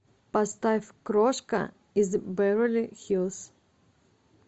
поставь крошка из беверли хиллз